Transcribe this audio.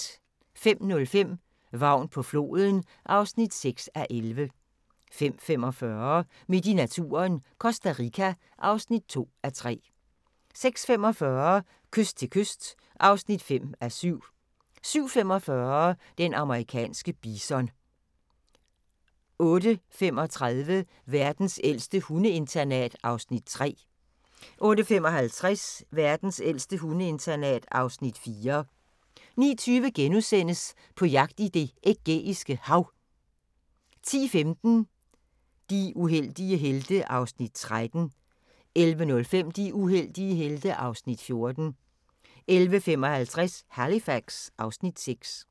05:05: Vagn på floden (6:11) 05:45: Midt i naturen – Costa Rica (2:3) 06:45: Kyst til kyst (5:7) 07:45: Den amerikanske bison 08:35: Verdens ældste hundeinternat (Afs. 3) 08:55: Verdens ældste hundeinternat (Afs. 4) 09:20: På jagt i Det Ægæiske Hav * 10:15: De uheldige helte (Afs. 13) 11:05: De uheldige helte (Afs. 14) 11:55: Halifax (Afs. 6)